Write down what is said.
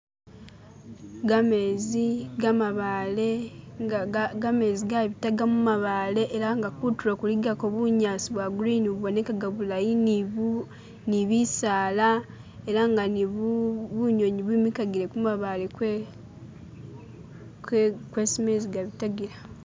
Gamezi gamabaale inga ga gamezi gabitaga mumabaale elanga kutulo kuligako bunyaasi bwa grini bubonekaga bulayi ni buu ni bisaala elanga ni buu bunyunyi bwimikagile kumabaale kwe kwe kwesi mezi gabitagila